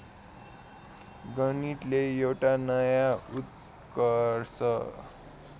गणितले एउटा नया उत्कर्ष